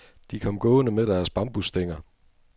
De kom gående med deres bambusstænger.